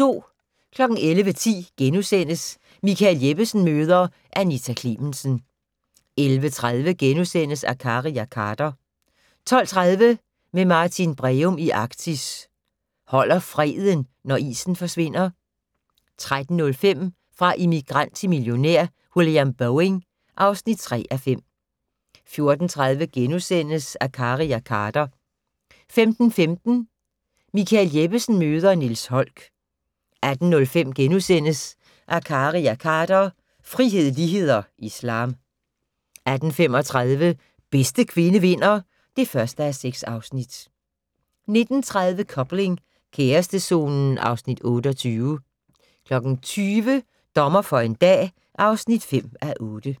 11:10: Michael Jeppesen møder ... Anita Klemensen * 11:30: Akkari og Khader * 12:30: Med Martin Breum i Arktis: Holder freden, når isen forsvinder? 13:05: Fra immigrant til millionær: William Boeing (3:5) 14:30: Akkari og Khader * 15:15: Michael Jeppesen møder ... Niels Holck 18:05: Akkari og Khader - frihed, lighed og islam * 18:35: Bedste kvinde vinder (1:6) 19:30: Coupling - kærestezonen (Afs. 28) 20:00: Dommer for en dag (5:8)